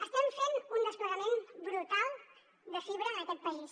estem fent un desplegament brutal de fibra en aquest país